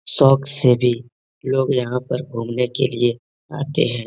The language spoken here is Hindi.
शौक से भी लोग यहाँ पर घूमने क लिए आते हैं।